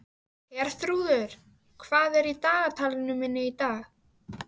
Herþrúður, hvað er í dagatalinu í dag?